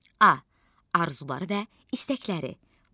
A arzuları və istəkləri.